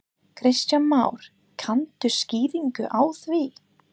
Kristján Már: Kanntu skýringu á því?